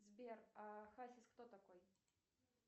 сбер а хасис кто такой